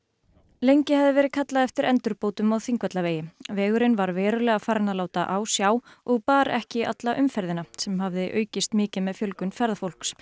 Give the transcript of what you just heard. lengi hafði verið kallað eftir endurbótum á Þingvallavegi vegurinn var verulega farinn að láta á sjá og bar ekki alla umferðina sem hafði aukist mikið með fjölgun ferðafólks